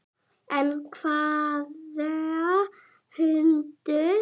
En hvaða hundur?